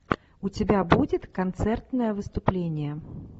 у тебя будет концертное выступление